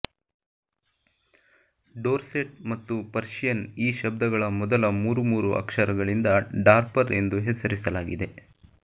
Dorset ಮತ್ತು Persian ಈ ಶಬ್ಧಗಳ ಮೊದಲ ಮೂರು ಮೂರು ಅಕ್ಷರಗಳಿಂದ ಡಾರ್ಪರ್ ಎಂದು ಹೆಸರಿಸಲಾಗಿದೆ